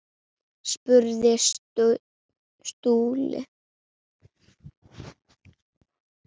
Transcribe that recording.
spurði Stulli.